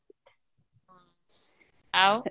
ଆଉ